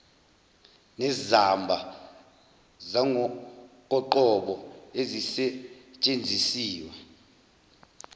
nezamba zangokoqobo ezisetshenzisiwe